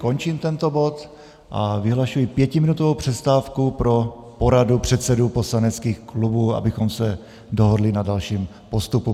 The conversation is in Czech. Končím tento bod a vyhlašuji pětiminutovou přestávku pro poradu předsedů poslaneckých klubů, abychom se dohodli na dalším postupu.